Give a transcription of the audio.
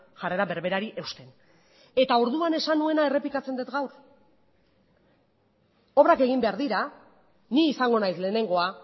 jarrera berberari eusten eta orduan esan nuena errepikatzen dut gaur obrak egin behar dira ni izango naiz lehenengoa